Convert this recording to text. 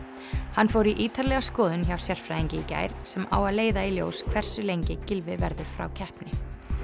hann fór í ítarlega skoðun hjá sérfræðingi í gær sem á að leiða í ljós hversu lengi Gylfi verður frá keppni